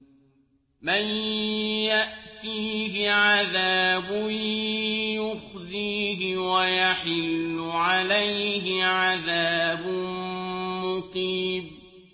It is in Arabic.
مَن يَأْتِيهِ عَذَابٌ يُخْزِيهِ وَيَحِلُّ عَلَيْهِ عَذَابٌ مُّقِيمٌ